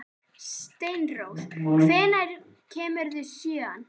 Steinrós, hvenær kemur sjöan?